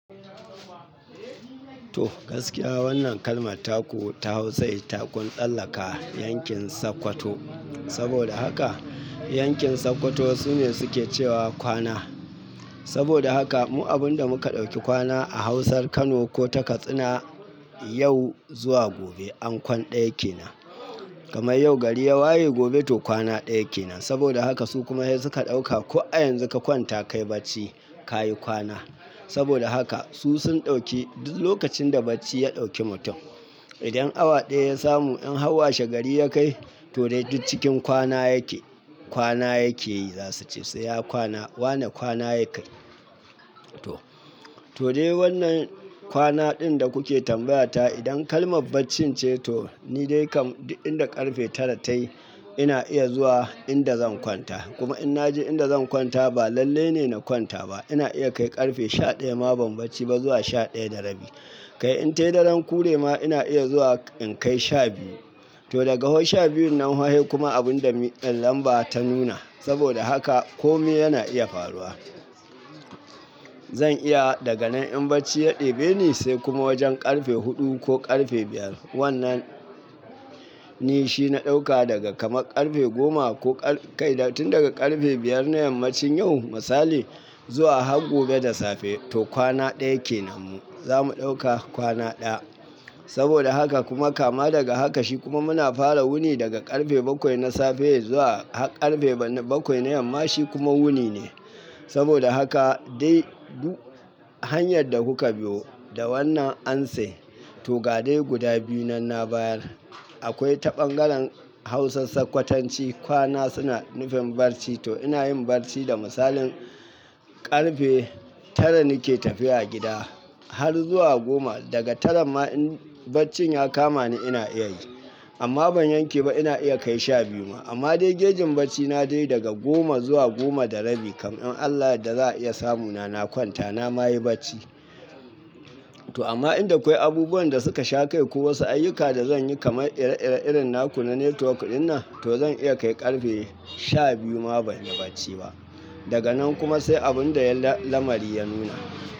To gaskiya wannan kalmar taku ta Hausa itakun tsallaka yankin Sokoto. Saboda haka yankin Sokoto sune suke cewa kwana. Saboda haka mu abunda muka ɗauki kwana a Hausar Kano ko ta Katsina, yau zuwa gobe an kwan ɗaya ke nan. Kamar yau gari ya waye, gobe to kwana ɗaya ke nan. Saboda haka su kuma dai suka ɗauka ko a yanzu ka kwanta kayi bacci, kayi kwana. Saboda haka su sun ɗauki duk lokacin da bacci ya ɗauki mutum. Idan awa ɗaya ya samu in har washegari ya kai, to dai duk cikin kwana yake, kwana yake yi za su ce sai ya kwana. Wane kwana ya kai. To, to dai wannan kwana ɗin da kuke tambayata idan kalmar bacci ce to ni dai kam duk inda ƙarfe tara tayi ina iya zuwa inda zan kwanta. Kuma in na je inda zan kwanta ba lalle ne na kwanta ba. Ina iya kai ƙarfe sha ɗaya ma ban bacci ba zuwa sha ɗaya da rabi. Kai in tayi daren kure ma ina iya zuwa in kai sha biyu. To daga fa sha biyun nan fa sai kuma abunda mi lamba ta nuna. Saboda haka kome yana iya faruwa. Zan iya daga nan in bacci ya ɗebe ni sai kuma wajen ƙarfe huɗu ko ƙarfe biyar. Wannan ni shi na ɗauka daga kama ƙarfe goma ko kai tun daga ƙarfe biyar na yammacin yau misali, zuwa har gobe da safe to kwana ɗaya ke nan mu. Zamu ɗauka kwana ɗaya. Saboda haka kuma kama daga haka shi kuma muna fara wuni daga ƙarfe bakwai na safe zuwa ƙarfe bakwai na yamma shi kuma wuni ne. Saboda haka dai duk hanyar da kuka biyo da wannan amser to ga dai guda biyu nan na bayar. Akwai ta ɓangaren Hausan Sokotanci kwana suna nufin bacci to ina yin bacci da misalin ƙarfe tara nake tafiya gida har zuwa goma. Daga tara ma in bacci ya kama ni ina iya yi. Amma ban yanke ba ina iya kai sha biyu ma. Amma dai gejin bacci na dai daga goma zuwa goma da rabi kan in Allah da za a iya samu na na kwanta na ma yi bacci. To amma inda akwai abubuwan da suka shaƙai ko wasu ayyuka da zan yi kamar ire-ire irin naku na network ɗinnan to zan iya kai ƙarfe sha biyu ma ban yi bacci ba. Daga nan kuma sai abunda lamari ya nuna.